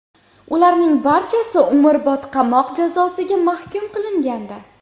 Ularning barchasi umrbod qamoq jazosiga mahkum qilingandi.